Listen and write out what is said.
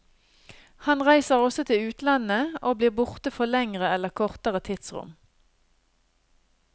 Han reiser også til utlandet, og blir borte for lengre eller kortere tidsrom.